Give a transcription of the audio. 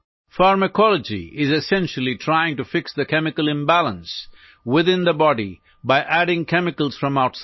Pharmacology is essentially trying to fix the chemical imbalance within the body by adding chemicals from outside